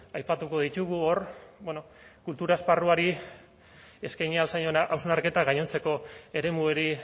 aipatuko ditugu hor bueno kultura esparruari eskaini ahal zaion hausnarketa gainontzeko eremuari